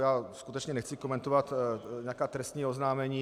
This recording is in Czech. Já skutečně nechci komentovat nějaká trestní oznámení.